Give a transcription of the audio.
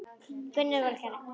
Gvendur garri.